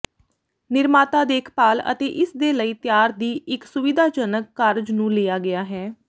ਨਿਰਮਾਤਾ ਦੇਖਭਾਲ ਅਤੇ ਇਸ ਦੇ ਲਈ ਤਿਆਰ ਦੀ ਇੱਕ ਸੁਵਿਧਾਜਨਕ ਕਾਰਜ ਨੂੰ ਲਿਆ ਗਿਆ ਹੈ